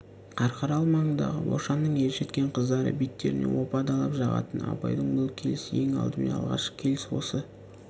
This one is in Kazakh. қарқаралы маңындағы бошанның ержеткен қыздары беттеріне опа-далап жағатын абайдың бұл келісі ең алдымен алғашқы келіс осы